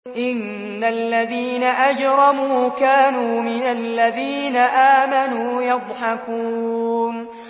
إِنَّ الَّذِينَ أَجْرَمُوا كَانُوا مِنَ الَّذِينَ آمَنُوا يَضْحَكُونَ